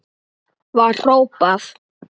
var hrópað.